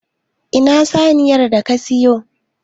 Ina saniyar da ka siyo?